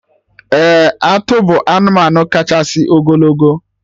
Ee! Atụ bụ anụmanụ kachasị ogologo